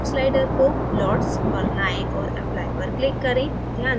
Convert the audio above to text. fog slider को lotsपर लायें और applyपर click करें